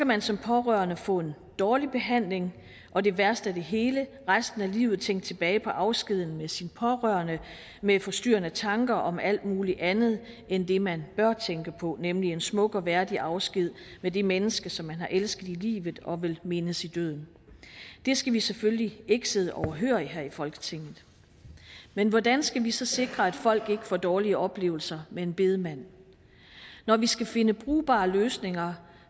man som pårørende få en dårlig behandling og det værste af det hele resten af livet tænke tilbage på afskeden med sine pårørende med forstyrrende tanker om alt muligt andet end det man bør tænke på nemlig en smuk og værdig afsked med det menneske som man har elsket i livet og vil mindes i døden det skal vi selvfølgelig ikke sidde overhørig her i folketinget men hvordan skal vi så sikre at folk ikke får dårlige oplevelser med en bedemand når vi skal finde brugbare løsninger